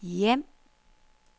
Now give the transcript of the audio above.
hjem